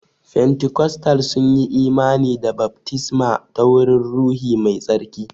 Fentikostal sunyi imani da baftisma ta wurin ruhi mai tsarki.